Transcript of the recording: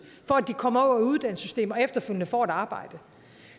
for at de kommer over i uddannelsessystemet og efterfølgende får et arbejde